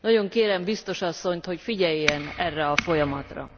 Nagyon kérem biztos asszonyt, hogy figyeljen erre a folyamatra.